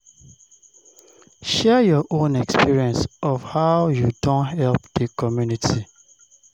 Share your own experience of how you don help di community